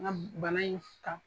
N ka bana in kan.